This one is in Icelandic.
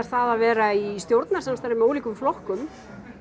það að vera í stjórnarsamstarfi með ólíkum flokkum